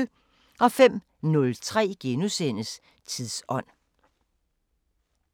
05:03: Tidsånd *